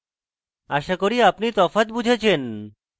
আশা করি আমি তফাৎ বুঝেছেন